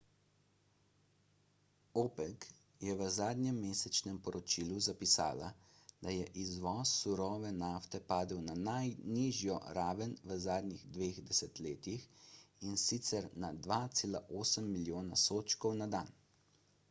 opec je v zadnjem mesečnem poročilu zapisala da je izvoz surove nafte padel na najnižjo raven v zadnjih dveh desetletjih in sicer na 2,8 milijona sodčkov na dan